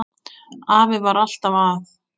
Afi var alltaf að.